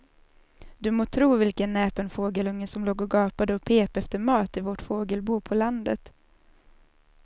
Du må tro vilken näpen fågelunge som låg och gapade och pep efter mat i vårt fågelbo på landet.